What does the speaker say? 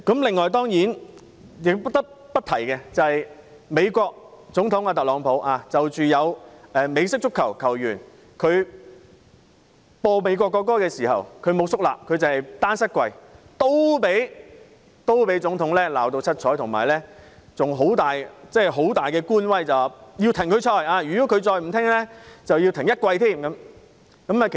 此外，主席，我不得不提有美式足球球員在播放美國國歌時，沒有肅立，單膝下跪，同樣被美國總統特朗普嚴厲批評，並大耍官威要求他停賽，如果他再不聽從，便要暫停他一整季賽事。